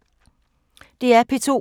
DR P2